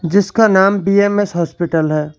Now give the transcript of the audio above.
जिसका नाम BMS hospital है।